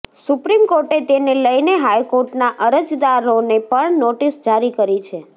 supreme કોર્ટે તેને લઇને હાઇકોર્ટના અરજદારોને પણ નોટિસ જારી કરી છે